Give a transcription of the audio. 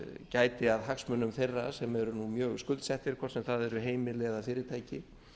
gæti að hagsmunum þeirra sem eru nú mjög skuldsettir hvort sem það eru heimili eða fyrirtæki